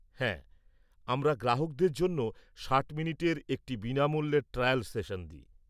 হ্যাঁ, আমরা গ্রাহকদের জন্য ৬০ মিনিটের একটি বিনামুল্যের ট্রায়াল সেশন দিই।